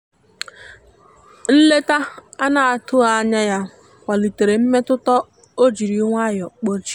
nleta anatughi anya ya kwalite mmetụta o jiri nwayo kpochie.